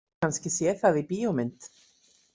Kannski séð það í bíómynd.